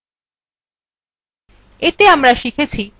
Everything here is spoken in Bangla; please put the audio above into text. এতে আমরা শিখেছি